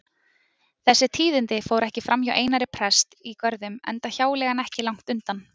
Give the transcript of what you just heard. Þessi tíðindi fóru ekki framhjá Einari presti í Görðum enda hjáleigan ekki langt undan.